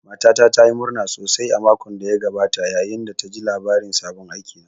Matata ta yi murna sosai a makon da ya gabata, yayin da ta ji labarin sabon aikina